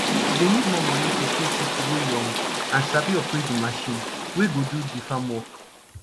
dey need more moni to pay pipo wey young and sabi operate de marchin wey go do de farm work